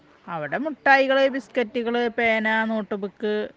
അവിടെ മുട്ടായികള് ബിസ്കറ്റുകള് പേന നോട്ടുബുക്